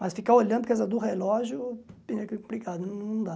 Mas ficar olhando por causa do relógio é complicado, não dá.